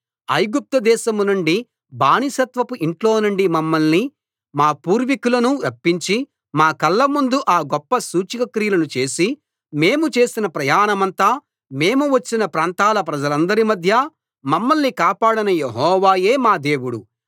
ఐగుప్తుదేశం నుండి బానిసత్వపు ఇంట్లో నుండి మమ్మల్ని మా పూర్వీకులను రప్పించి మా కళ్ళముందు ఆ గొప్ప సూచక క్రియలను చేసి మేము చేసిన ప్రయాణమంతా మేము వచ్చిన ప్రాంతాల ప్రజలందరి మధ్య మమ్మల్ని కాపాడిన యెహోవాయే మా దేవుడు